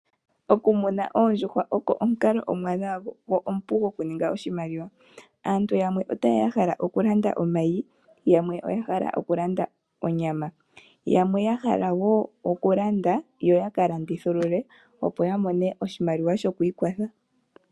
Okumuna oondjuhwa oko omukalo omuwanwa go omupu okuninga oshimaliwa. Aantu yamwe otaye ya ya hala okulanda omayi nenge onyama. Yamwe ya hala wo okulanda yo ka landithulule, opo ya mone oshimaliwa shoku ikwatha.